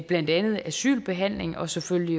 blandt andet asylbehandlingen og selvfølgelig